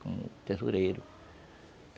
Como tesoureiro.